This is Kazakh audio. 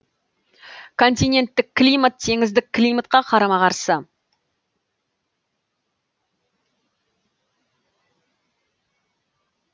континенттік климат теңіздік климатқа қарама қарсы